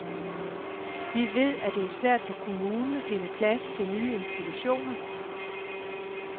Vi ved, at det er svært for kommunen at finde plads til nye institutioner.